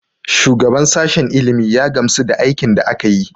Shugaban sashen ilimi ya gamsu da aikin da aka yi.